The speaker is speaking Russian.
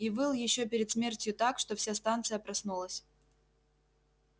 и выл ещё перед смертью так что вся станция проснулась